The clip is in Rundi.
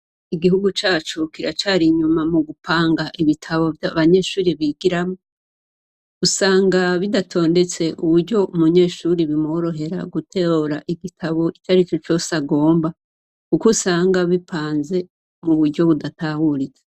Igihugu cacu kiracar’inyuma mugupanga ibitabu abanyeshuri bigiramwo. Usanga bidatondetse uburyo umunyeshure bimworohera gutora igitabo icarico cose agomba kuko usanga bipanze muburyo budatahuritse.